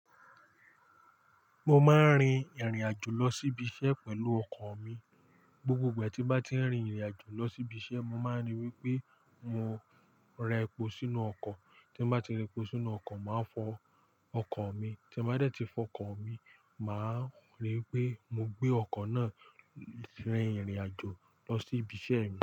Mo máa ń rin ìrìn àjò lọ sí ibi iṣẹ́ pẹ̀lú ọkọ̀ mi. Gbogbo ìgbà tí n bá ti ń rin ìrìn àjò lọ sí ibi iṣẹ́, mo máa ń ríi wí pé mo ra ẹpo sínú ọkọ̀. Tí n bá ti ra ẹpo sínú ọkọ̀, màá fọ ọkọ̀ mi. Tí n bá dé tí fọ ọkọ̀ mi, màá ríi wí pé mo gbé ọkọ̀ náà rin ìrìn àjò lọ sí ibi iṣẹ́ mi.